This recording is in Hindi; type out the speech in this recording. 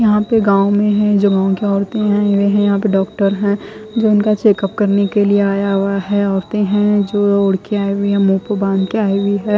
यहा पे गाव में है जो उनकी ओरते है वे है यहा पे डोक्टर है जो इनका चेकुप करने के लिए आया हुआ है ओरते है जो ओड के आई हुई है मुह्ह पर बांध के आई है।